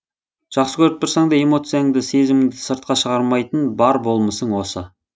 жақсы көріп тұрсаң да эмоцияңды сезіміңді сыртқа шығармайтын бар болмысың осы